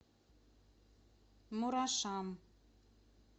мурашам